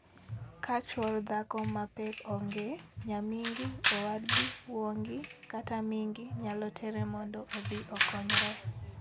Ka chwor dhako ma pek onge, nyamingi, owadgi, wuongi, kata mingi nyalo tere mondo odhi okonyre.